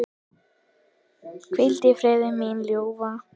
Hvíl í friði, mín ljúfa.